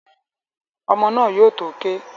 Ọmọ́ náà yóò tó ké